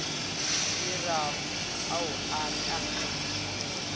dirang a o ka binela